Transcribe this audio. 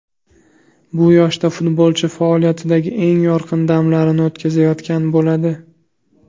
Bu yoshda futbolchi faoliyatidagi eng yorqin damlarini o‘tkazayotgan bo‘ladi.